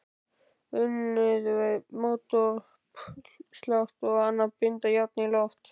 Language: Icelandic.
Unnið við mótauppslátt og að binda járn í loft.